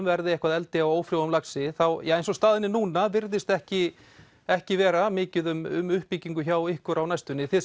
verði eitthvað eldi á ófrjóum laxi eins og staðan er núna virðist ekki ekki vera mikið um uppbyggingu hjá ykkur á næstunni þið